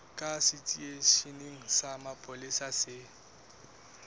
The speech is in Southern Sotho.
kapa seteisheneng sa mapolesa se